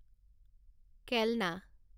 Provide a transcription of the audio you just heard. কেলনা